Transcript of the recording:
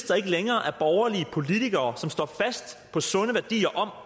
der ikke længere er borgerlige politikere som står fast på den sunde værdi